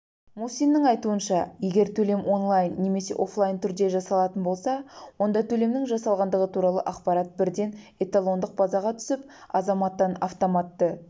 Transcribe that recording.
мусиннің айтуынша егер төлем онлайн немесе оффлайн түрде жасалатын болса онда төлемнің жасалғандығы туралы ақпарат бірден эталондық базаға түсіп азаматтан автоматты